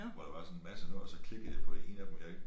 Hvor der var sådan en masse noget og så klikkede jeg på en af dem jeg ikke